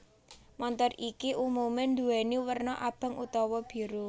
Montor iki umume nduweni werna abang utawa biru